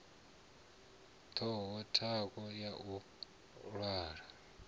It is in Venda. vhaho thanga ya u malwa